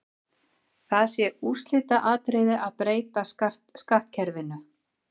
Það sé úrslitaatriði að breyta skattkerfinu.